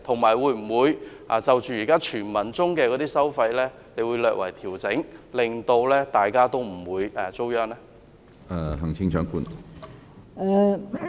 至於這些傳聞中的收費安排，她會否略為調整，令大家不會遭殃？